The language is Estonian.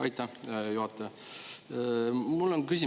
Aitäh, hea juhataja!